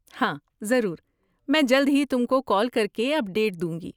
ہاں، ضرور، میں جلد ہی تم کو کال کر کے اپڈیٹ دوں گی۔